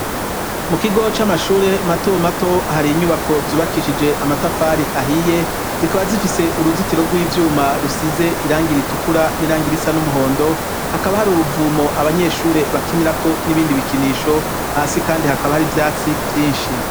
Mu kigo c'amashure mato mato hari inyubako zubakishije amatafari ahiye zikaba zifise uruzitiro rw'ivyuma rusize irangira itukura n'irangira isa n'umuhondo hakaba hari uruvumo abanyeshure bakinirako n'ibindi bikinisho hasi kandi hakaba hari ivyatsi vyinshi.